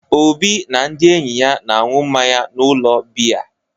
Obi na ndị enyi ya na-aṅụ mmanya n’ụlọ biya.